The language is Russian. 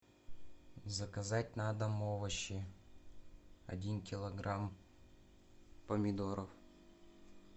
заказать на дом овощи один килограмм помидоров